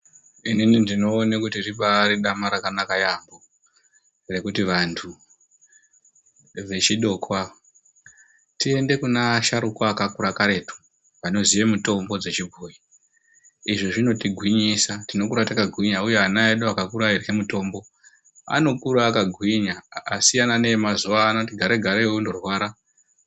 Inini ndinoone kuti ribari dama rakanaka yamho rekuti vantu vechidoko ava tiende kune asharukwa akakura karetu anoziya mitombo dzechibhoyi. Izvi zvinotigwinyisa. Tinokura yakagwinya uye ana edu akakura eirya mitombo, anokura akagwinya, akasiyana neemazuwaano anoti akati garei garei ondorwara.